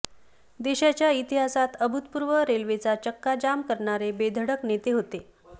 देशाच्या इतिहासात अभूतपूर्व रेल्वेचा चक्का जाम करणारे बेधडक नेते होते